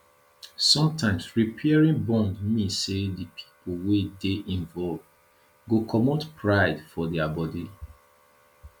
sometimes repairing bond mean sey di pipo wey dey involved go comot pride for their body